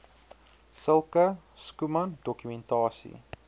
sulke schoeman dokumentasie